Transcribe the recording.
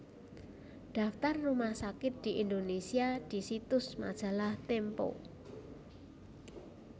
Daftar rumah sakit di Indonesia di situs Majalah Tempo